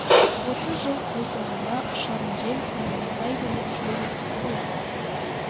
отыз жыл қой соңында ұшарын жел қонарын сай біліп жүре беріпті ғой